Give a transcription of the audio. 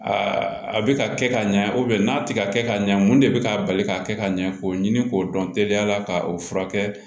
a bɛ ka kɛ ka ɲɛ n'a tɛ ka kɛ ka ɲɛ mun de bɛ k'a bali k'a kɛ ka ɲɛ k'o ɲini k'o dɔn teliyala ka o furakɛ